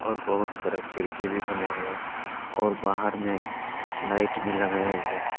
बहुत सारा खिड़की भी बनाया गया है और बाहर में लाइट भी लगाया गया है।